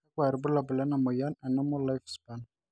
kakua irbulabol le moyian e normal life span.